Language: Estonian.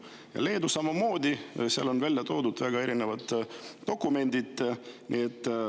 Leedu avalduses samamoodi on välja toodud väga erinevad dokumendid.